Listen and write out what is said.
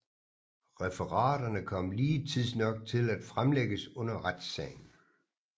Referaterne kom lige tidsnok til at fremlægges under retssagen